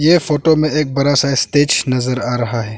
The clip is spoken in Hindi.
ये फोटो में एक बड़ा सा इस्टेज नजर आ रहा है।